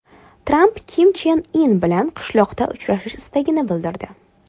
Tramp Kim Chen In bilan qishloqda uchrashish istagini bildirdi.